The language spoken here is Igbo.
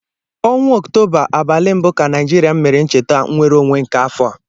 Ọnwa Ọktoba, abalị mbụ ka Naijiria mere ncheta nwereonwe nke afọ a